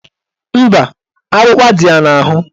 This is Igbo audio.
Mba, akpụkpa dị ya n'ahụ